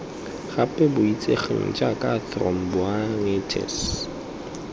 gape bo itsegeng jaaka thromboangitis